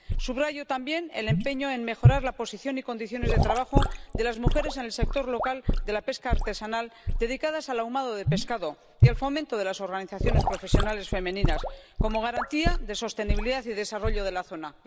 Subrayo también el empeño en mejorar la posición y condiciones de trabajo de las mujeres en el sector local de la pesca artesanal dedicadas al ahumado de pescado y el fomento de las organizaciones profesionales femeninas como garantía de sostenibilidad y desarrollo de la zona.